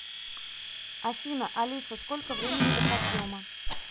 афина алиса сколько времени до подъема